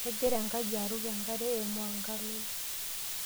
kegira enkaji aruk enkare eimu orng'alol.